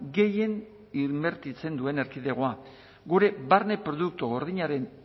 gehien inbertitzen duen erkidegoa gure barne produktu gordinaren